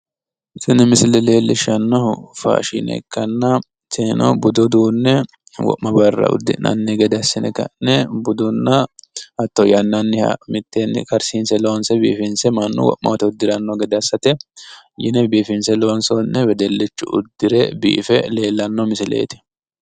Tini misile leellishshannohu faashshine ikkanna tinino budu uduunne wo'ma barra uddi'nanni gede assine ka'ne budunna hatto yannanniha mitteenni karsiise biifinse loonse mannu wo'ma woyte uddiranno gede assate yine biifinse loonsoonniha wedellichu uddire biife leellanno misileeti.